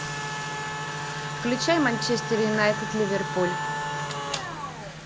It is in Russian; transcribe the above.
включай манчестер юнайтед ливерпуль